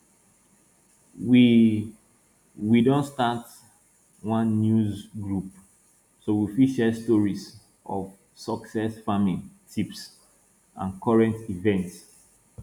we we don start one news group so we fit share stories of success farming tips and current events